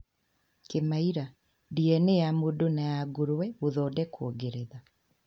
Kĩmaira: DNA ya mũndũ na ya nguruve gothondekwo Ngeretha